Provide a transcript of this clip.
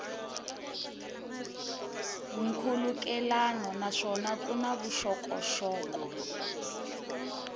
nkhulukelano naswona ku na vuxokoxoko